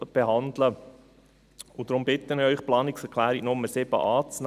Deshalb bitte ich Sie, die Planungserklärung Nr. 7 anzunehmen.